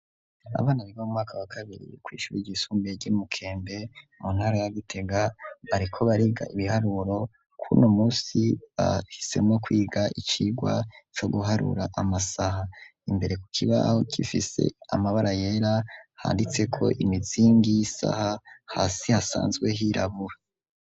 Abana biga mu mwaka wa kabiri kw'ishure ryisumbiye ry'imukembe mu ntara ya gitega bariko bariga ibiharuro kuno munsi bahisemo kwiga icigwa co guharura kw'amasaha imbere ku kibaho cifise amabara yera handitse ko imitsingi y'isaha hasi hasanzwe hirabura.